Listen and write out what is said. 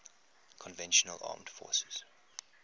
conventional armed forces